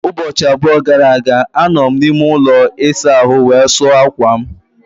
Ụbọchị abụọ gara aga, anọ m n'ime ụlọ ịsa ahụ wee sụọ akwa m.